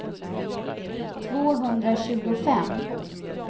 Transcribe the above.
tvåhundratjugofem